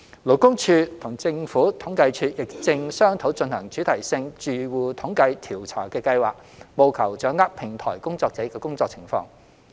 勞工處與政府統計處亦正商討進行主題性住戶統計調查的計劃，務求掌握平台工作者的工作情況。